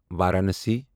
Varanasi